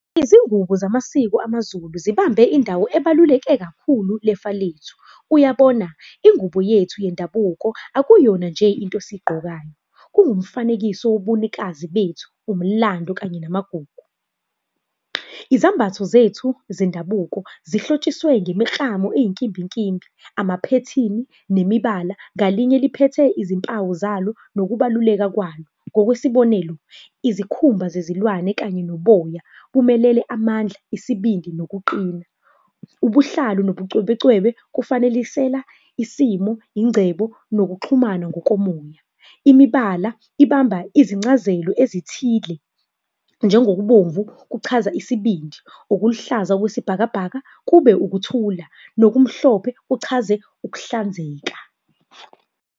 Izingubo zamasiko amaZulu zibambe indawo ebaluleke kakhulu lefa lethu. Uyabona, ingubo yethu yendabuko akuyona nje into esiyigqokayo, kungumfanekiso wobunikazi bethu, umlando, kanye namagugu. Izambatho zethu zendabuko zihlotshiswe ngemiklamo eyinkimbinkimbi, amaphethini, nemibala, ngalinye liphethe izimpawu zalo, nokubaluleka kwalo. Ngokwesibonelo, izikhumba zezilwane kanye noboya, bumelele amandla, isibindi nokuqina. Ubuhlalu nobucwebecwebe, kufanekisela isimo, ingcebo nokuxhumana ngokomoya. Imibala ibamba izincazelo ezithile, njengokubomvu, kuchaza isibindi, ukuluhlaza okwesibhakabhaka kube ukuthula, nokumhlophe kuchaze, ukuhlanzeka.